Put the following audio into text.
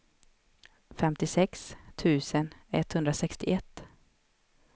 femtiosex tusen etthundrasextioett